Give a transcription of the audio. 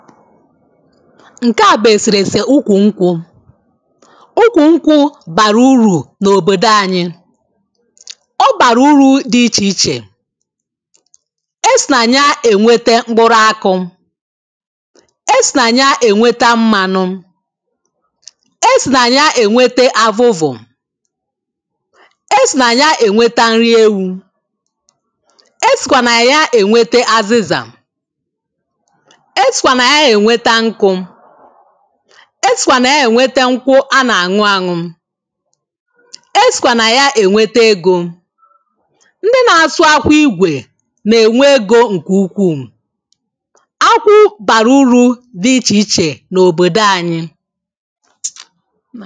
Ǹkẹ a bù eserese ukwù nkwụ̄ ụkwụ ñ́kwụ̄ bàrà urù n’òbòdò ànyị ọ bàrà urū dị ịchè ịchè e sì nà ya ènwete mkpụrụ akụ̄ e sì nà ya ènwete mmānū e sì nà ya ènwete avuvù e sì nà ya ènwete nri ewū e sìkwà nà ya ènwete azizà e sìkwà nà ya ènweta ñkʊ̄ e sìkwà nà ya ènweta ñkwụ a nà-àñụ añu e sìkwà nà ya ènwete egō ndị na-asụ akwụ ịgwè nà-ènwe egō ǹkè ụkwu ákʷʊ́ bàrà úrū dɪ́ ɪ́tʃè ɪ́tʃè nò:bòdō àɲɪ́